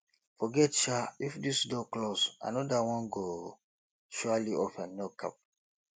forget sha if this door close anoda one go surely open no cap